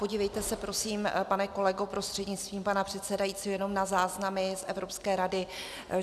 Podívejte se prosím, pane kolego prostřednictvím pana předsedajícího, jenom na záznamy z Evropské rady.